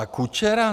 A Kučera?